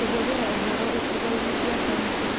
Kũhũthĩra ũhoro icigo-inĩ cia kaunti